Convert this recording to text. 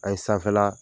An ye sanfɛla